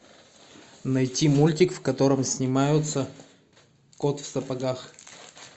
найти мультик в котором снимаются кот в сапогах